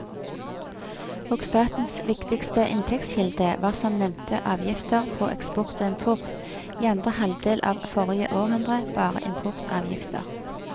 Og statens viktigste inntektskilde var som nevnte avgifter på eksport og import, i andre halvdel av forrige århundre bare importavgifter.